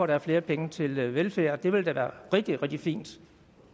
der er flere penge til velfærd og det ville da være rigtig rigtig fint